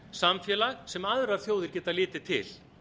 samfélag sem aðrar þjóðir geta litið til